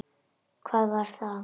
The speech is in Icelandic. Hvað var það?